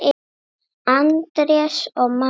Andrés og María.